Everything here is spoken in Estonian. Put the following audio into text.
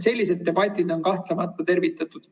Sellised debatid on kahtlemata tervitatud.